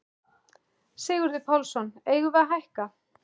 Sigurður Pálsson: Eigum við að hækka?